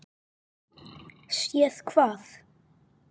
Séð hvað?